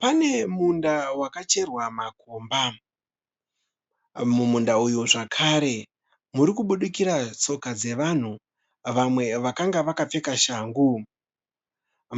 Pane munda wakacherwa makomba. Mumunda uyu zvakare muri kubudikira tsoka dzevanhu, vamwe vakanga vakapfeka shangu.